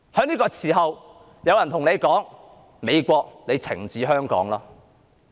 在這個時候，有人說："美國，你懲治香港吧"。